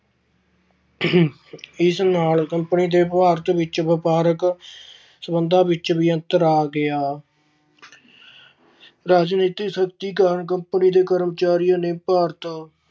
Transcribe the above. ਇਸ ਨਾਲ ਕੰਪਨੀ ਦੇ ਭਾਰਤ ਵਿੱਚ ਵਪਾਰਕ ਸਬੰਧਾਂ ਵਿੱਚ ਵੀ ਅੰਤਰ ਆ ਗਿਆ। ਰਾਜਨੀਤਿਕ ਸ਼ਕਤੀਕਰਨ company ਦੇ ਕਰਮਚਾਰੀਆਂ ਨੇ ਭਾਰਤ